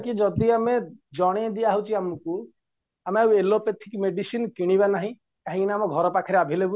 କି ଯଦି ଆମେ ଜଣେଇ ଦିଆ ହଉଚି ଆମକୁ ଆମେ ଆଉ allopathic medicine କିଣିବା ନାହିଁ କାହିଁକିନା ଆମ ଘର ପାଖରେ available